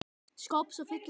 skáps að fylla hann.